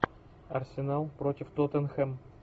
арсенал против тоттенхэм